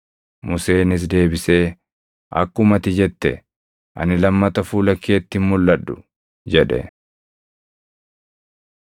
Museenis deebisee, “Akkuma ati jette, ani lammata fuula keetti hin mulʼadhu” jedhe.